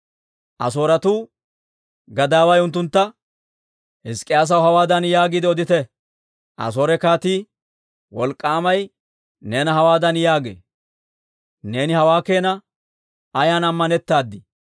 Asooretuu gadaaway unttuntta, «Hizk'k'iyaasaw hawaadan yaagiide odite; ‹Asoore kaatii, wolk'k'aamay neena hawaadan yaagee; Neeni hawaa keena ayan ammanettaad?›